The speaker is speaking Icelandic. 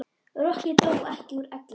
Rokkið dó ekki úr elli.